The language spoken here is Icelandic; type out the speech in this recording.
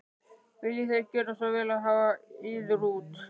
Viljið þér gjöra svo vel og hafa yður út.